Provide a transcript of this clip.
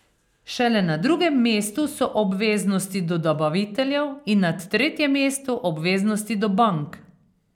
Šele na drugem mestu so obveznosti do dobaviteljev in na tretjem mestu obveznosti do bank.